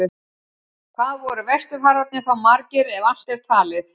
Hvað voru vesturfararnir þá margir, ef allt er talið?